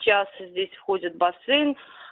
час здесь входит бассейн